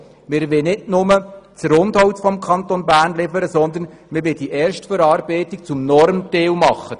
Wir wollen nicht nur das Rundholz liefern, sondern die Erstverarbeitung zum Normteil machen.